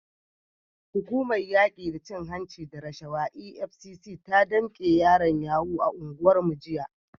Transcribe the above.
Hukumar yaki da cin hanci da rashawa EFCC ta damke yaran yahoo a unguwarmu jiya.